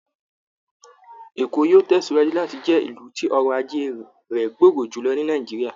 Èkó yóò tẹ̀síwájú láti jẹ́ ilù tí ọrọ̀ ajé rẹ̀ gbòòrò jùlọ ni Nàìjíríà